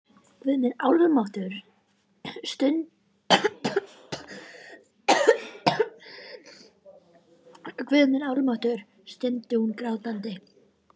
Guð minn almáttugur, stundi hún grátandi.